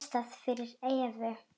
Ég les það fyrir Evu.